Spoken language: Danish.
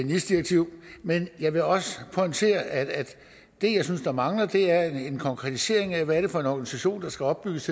nis direktiv men jeg vil også pointere at det jeg synes der mangler er en konkretisering af hvad det er for en organisation der skal opbygges